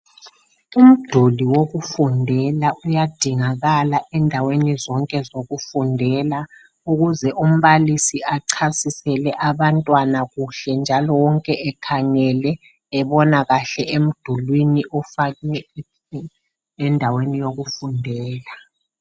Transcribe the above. Umduli wokufundela uyadingikala endaweni zonke zokufundela ukuze umbalisi achasisele abantwana kuhle njalo wonke ekhangele ebona kahle emdulwini ofakwe endaweni yokufundela.